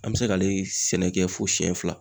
An bɛ se k'ale sɛnɛ kɛ fo siyɛn fila.